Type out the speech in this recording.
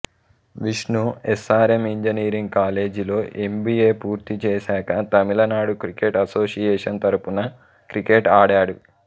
Vishnu S R M engineering కాలేజీలో MBA పూర్తి చేశాక తమిళనాడు క్రికెట్ అసోసియేషన్ తరపున క్రికెట్ ఆడాడు